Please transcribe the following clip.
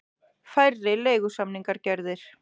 Færri leigusamningar gerðir